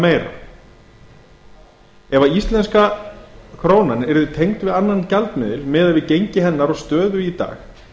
eða meira ef íslenska krónan yrði tengd við annan gjaldmiðil miðað við gengi hennar og stöðu í dag hvað mundi